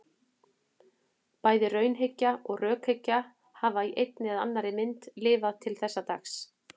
Bæði raunhyggja og rökhyggja hafa í einni eða annarri mynd lifað til þessa dags.